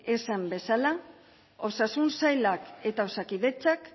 esan bezala osasun sailak eta osakidetzak